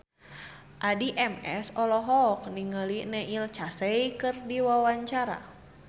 Addie MS olohok ningali Neil Casey keur diwawancara